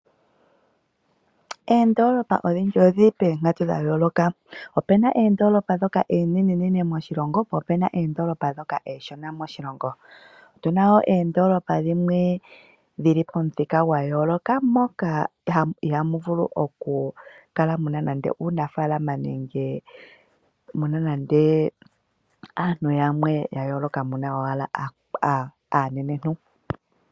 Oondoolopa odhindji odhi li poonkatu dha yooloka. Opu na oondoolopa ndhoka oonenenene moshilongo, po opu na oondoolopa ndhoka oonshona moshilongo. Otu na wo oondoolopa dhimwe dhi li pomithika dha yooloka moka ihaamu vulu okukala mu na uunafaalama nenge aantu yamwe ya yooloka mu na owala aanenentu.